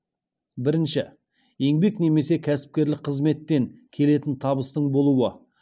бірінші еңбек немесе кәсіпкерлік қызметтен келетін табыстың болуы